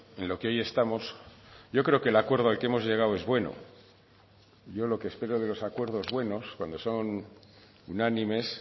en lo que hoy estamos yo creo que el acuerdo al que hemos llegado es bueno yo lo que espero de los acuerdos buenos cuando son unánimes